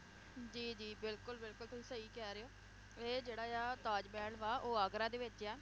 ਜੀ ਜੀ ਬਿਲਕੁਲ ਬਿਲਕੁਲ ਤੁਸੀਂ ਸਹੀ ਕਹਿ ਰਹੇ ਹੋ ਇਹ ਜਿਹੜਾ ਆ ਤਾਜ ਮਹਿਲ ਵਾ ਉਹ ਆਗਰਾ ਦੇ ਵਿਚ ਆ